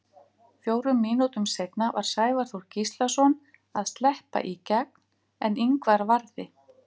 Fjórum mínútum seinna var Sævar Þór Gíslason að sleppa í gegn, en Ingvar varði.